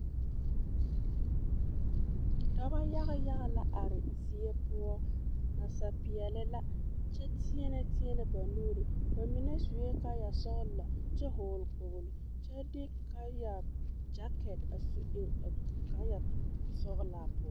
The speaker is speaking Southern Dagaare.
Dɔbɔ yaga yaga la are zie poɔ nasapeɛle la kyɛ teɛnɛ teɛnɛ ba nuuri, ba mine sue kaaya sɔgelɔ kyɛ hɔɔle kpoolo kyɛ de kyaaya gyakɛte su eŋ a kaaya sɔgelaa poɔ.